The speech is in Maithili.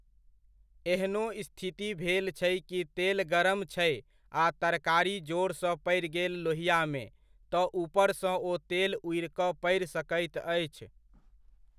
एहनो स्थिति भेल छै कि तेल गरम छै आ तरकारी जोरसँ पड़ि गेल लोहिआमे, तऽ ऊपरसँ ओ तेल ऊड़ि कऽ पड़ि सकैत अछि